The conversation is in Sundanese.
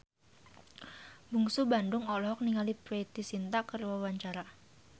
Bungsu Bandung olohok ningali Preity Zinta keur diwawancara